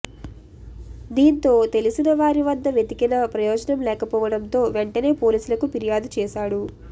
దీంతో తెలిసిన వారి వద్ద వెతికిన ప్రయోజనం లేకపోవడంతో వెంటనే పోలీసులకు ఫిర్యాదు చేశాడు